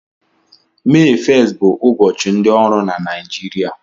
Mee 1st bụ ụbọchị ndị ọrụ na Naịjirịa